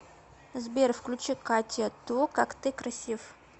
сбер включи катя ту как ты красив